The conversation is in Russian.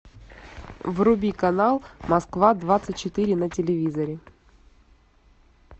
вруби канал москва двадцать четыре на телевизоре